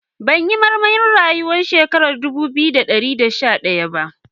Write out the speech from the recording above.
Ban yi marmarin rayu har shekara dubu biyu da dari da sha daya ba.